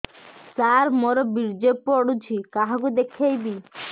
ସାର ମୋର ବୀର୍ଯ୍ୟ ପଢ଼ୁଛି କାହାକୁ ଦେଖେଇବି